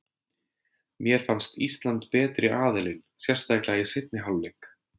Mér fannst Ísland betri aðilinn, sérstaklega í seinni hálfleik.